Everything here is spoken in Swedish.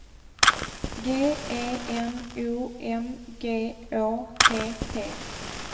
G E N O M G Å T T